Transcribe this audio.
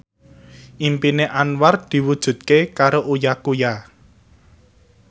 impine Anwar diwujudke karo Uya Kuya